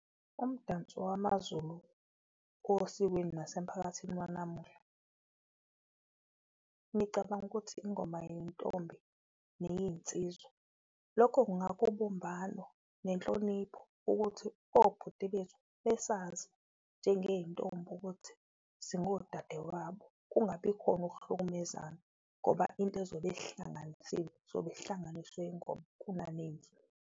Umdanso wamaZulu osikweni nasemphakathini wanamuhla, ngicabanga ukuthi ingoma yeyintombi neyeyinsizwa, lokho kungakha ubumbano nenhlonipho ukuthi obhuti bethu besazi njengeyintombi ukuthi singodade wabo. Kungabi khona ukuhlukumezana ngoba into ezobe isihlanganisile sobesihlanganiswe ingoma .